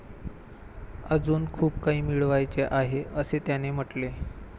अजून खूप काही मिळवायचे आहे, असे त्याने म्हटले.